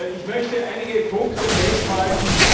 Ich möchte einige Punkte festhalten.